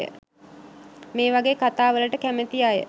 මේවගේ කතා වලට කැමති අය